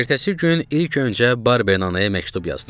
Ertəsi gün ilk öncə Barbernaya məktub yazdım.